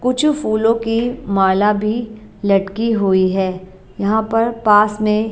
कुछु फूलों की माला भी लड़की हुई है यहां पर पास में--